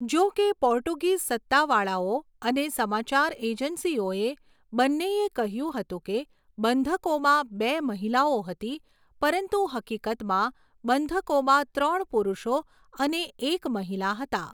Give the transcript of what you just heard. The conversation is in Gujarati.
જો કે પોર્ટુગીઝ સત્તાવાળાઓ અને સમાચાર એજન્સીઓ બંનેએ કહ્યું હતું કે બંધકોમાં બે મહિલાઓ હતી, પરંતુ હકીકતમાં બંધકોમાં ત્રણ પુરુષો અને એક મહિલા હતા.